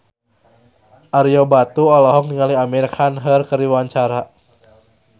Ario Batu olohok ningali Amir Khan keur diwawancara